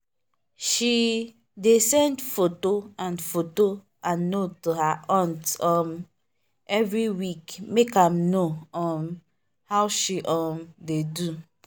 she dey send photo and photo and note to her aunt um every week make am know um how she um dey do.